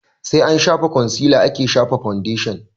Sai an shafa kwansila ake shafa faundeshin